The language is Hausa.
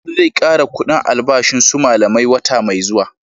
Shugaba zai kara kudin albashin su malamai wata mai zuwa